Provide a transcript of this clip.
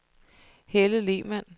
Helle Lehmann